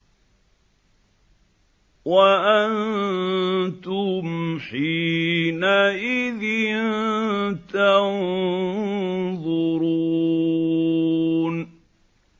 وَأَنتُمْ حِينَئِذٍ تَنظُرُونَ